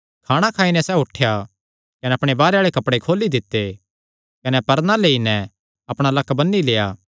खाणा खाई नैं सैह़ उठेया कने अपणे बाहरे आल़े कपड़े खोली दित्ते कने परना लेई नैं अपणा लक्क बन्नी लेआ